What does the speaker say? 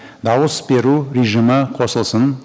дауыс беру режимі қосылсын